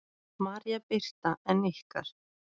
María Birta en ykkar?